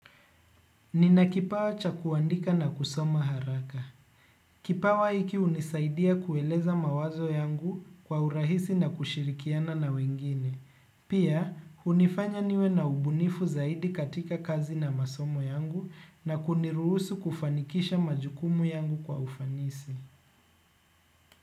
Ninakipawa cha kuandika na kusoma haraka. Kipawa hiki hunisaidia kueleza mawazo yangu kwa urahisi na kushirikiana na wengine. Pia, hunifanya niwe na ubunifu zaidi katika kazi na masomo yangu na kuniruhusu kufanikisha majukumu yangu kwa ufanisi.